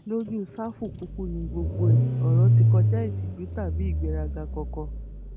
lójú sáfù kúkú ni gbogbo ẹ ọrọ ti kọjá ìtìjú tàbí ìgbéraga kankan